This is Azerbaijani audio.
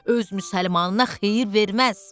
Öz müsəlmanına xeyir verməz.